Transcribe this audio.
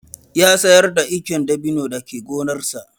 Ya sayar da icen dabino da ke gonarsa.